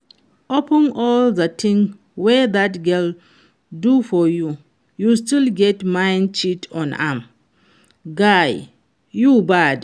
Upon all the things wey dat girl do for you, you still get mind cheat on am? Guy, you bad